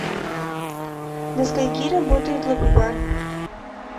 до скольки работает лоби бар